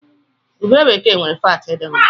Ube bekee nwere faatị dị mma.